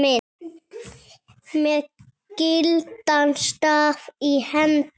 með gildan staf í hendi